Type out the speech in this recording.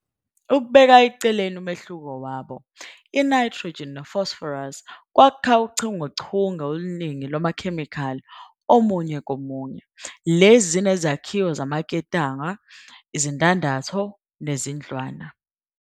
Ukubeka eceleni umehluko wabo, i-nitrogen ne-phosphorus kwakha uchungechunge oluningi lwamakhemikhali omunye komunye, lezi zinezakhiwo zamaketanga, izindandatho, nezindlwana